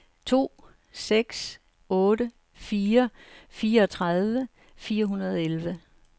to seks otte fire fireogtredive fire hundrede og elleve